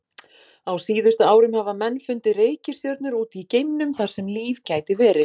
Á síðustu árum hafa menn fundið reikistjörnur út í geimnum þar sem líf gæti verið.